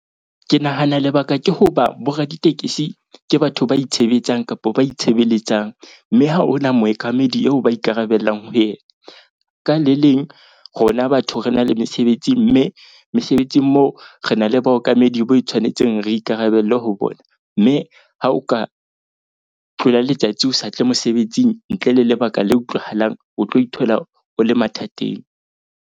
Ke nahana lebaka ke hoba bo raditekesi ke batho ba itshebetsang kapo ba itshebeletsang. Mme ha hona mookamedi eo ba ikarabellang ho yena. Ka le leng, rona batho re na le mesebetsi mme mesebetsing mo re na le baokamedi bo e tshwanetseng, re ikarabelle ho bona. Mme ha o ka tlola letsatsi o sa tle mosebetsing ntle le lebaka le utlwahalang, o tlo ithola o le mathateng.